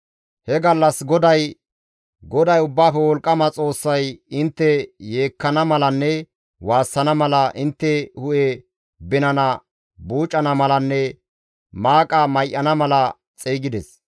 He gallas GODAY Ubbaafe Wolqqama Xoossay intte yeekkana malanne waassana mala, intte hu7e binana buucana malanne maaqa may7ana mala xeygides.